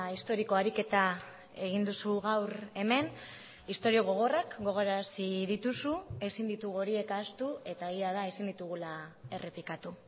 historiko ariketa egin duzu gaur hemen istorio gogorrak gogorarazi dituzu ezin ditugu horiek ahaztu eta egia da ezin ditugula errepikatu